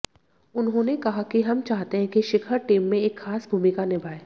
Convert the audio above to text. उन्होंने कहा कि हम चाहते हैं कि शिखर टीम में एक खास भूमिका निभाये